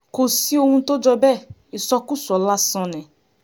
kò sí ohun tó jọ bẹ́ẹ̀ ìsọkúsọ lásán ni